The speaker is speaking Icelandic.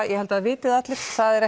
ég held að það viti það allir það er